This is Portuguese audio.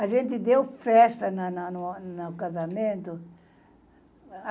A gente deu festa na na na no casamento.